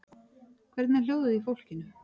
Hvernig er hljóðið í fólkinu?